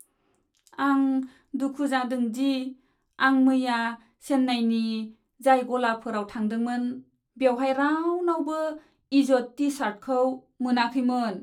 आं दुखु जादों दि आं मैया चेन्नाइनि जाय गलाफोराव थांदोंमोन बेवहाय रावनावबो इज'द टि सार्टखौ मोनाखैमोन।